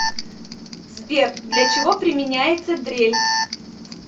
сбер для чего применяется дрель